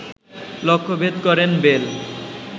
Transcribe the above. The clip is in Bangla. লক্ষ্যভেদ করেন বেল